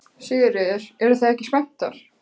Sigríður: Eruð þið ekki spenntar?